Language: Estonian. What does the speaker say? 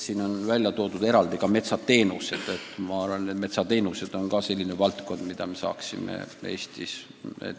Siin on metsateenused eraldi välja toodud ja see on valdkond, mida me saaksime ka Eestis kõvasti arendada.